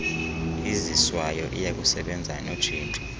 iziswayo iyakusebenza notshintsho